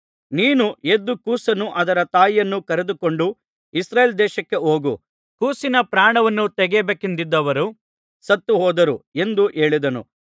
ನೀನು ಎದ್ದು ಕೂಸನ್ನೂ ಅದರ ತಾಯಿಯನ್ನೂ ಕರೆದುಕೊಂಡು ಇಸ್ರಾಯೇಲ್ ದೇಶಕ್ಕೆ ಹೋಗು ಕೂಸಿನ ಪ್ರಾಣವನ್ನು ತೆಗೆಯಬೇಕೆಂದಿದ್ದವರು ಸತ್ತು ಹೋದರು ಎಂದು ಹೇಳಿದನು